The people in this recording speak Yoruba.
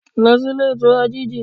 Lọ sí Ilé Ìtura GG